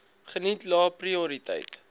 geniet lae prioriteit